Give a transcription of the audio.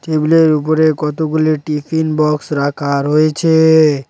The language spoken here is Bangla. টেবিলের উপরে কতগুলি টিফিন বক্স রাখা রয়েছে।